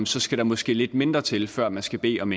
så skal der måske lidt mindre til før man skal bede om